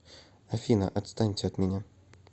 афина отстаньте от меня